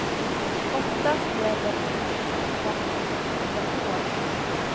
Oftast gäller ungdomskontrakten i fyra år.